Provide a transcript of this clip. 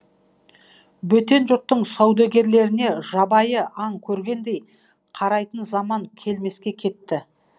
бөтен жұрттың саудагерлеріне жабайы аң көргендей қарайтын заман келмеске кетті